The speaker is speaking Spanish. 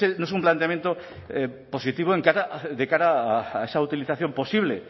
no es un planteamiento positivo de cara a esa utilización posible